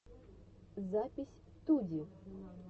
запись туди